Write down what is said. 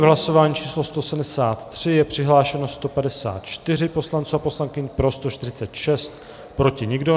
V hlasování číslo 173 je přihlášeno 154 poslanců a poslankyň, pro 146, proti nikdo.